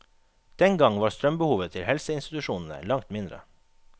Den gang var strømbehovet til helseinstitusjonene langt mindre.